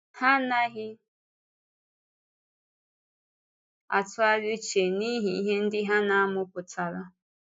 Ha anaghị atụgharị uche n’ihe ihe ndị ha na-amụ pụtara.